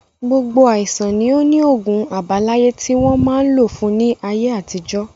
Gbogbo àìsàn ni ó ni ogún àbáláyé tí wọn máa ń lò fún ní ayé àtijọ́